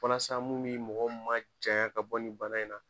Walasa mun mi mɔgɔw majaɲa ka bɔ nin bana in na